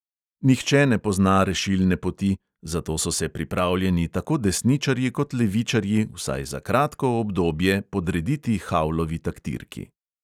Nihče ne pozna rešilne poti, zato so se pripravljeni tako desničarji kot levičarji vsaj za kratko obdobje podrediti havlovi taktirki.